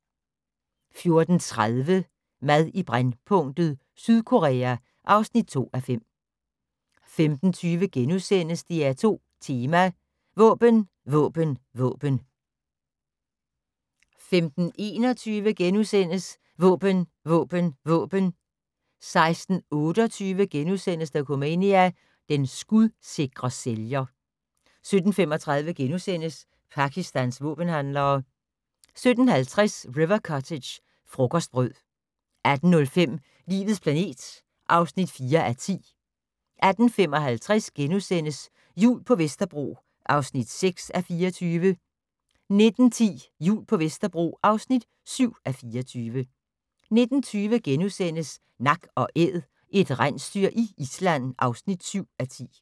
14:30: Mad i brændpunktet: Sydkorea (2:5) 15:20: DR2 Tema: Våben våben våben * 15:21: Våben Våben Våben! * 16:28: Dokumania: Den skudsikre sælger * 17:35: Pakistans våbenhandlere * 17:50: River Cottage - frokostbrød 18:05: Livets planet (4:10) 18:55: Jul på Vesterbro (6:24)* 19:10: Jul på Vesterbro (7:24) 19:20: Nak & Æd - et rensdyr i Island (7:10)*